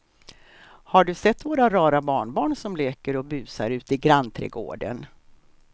Har du sett våra rara barnbarn som leker och busar ute i grannträdgården!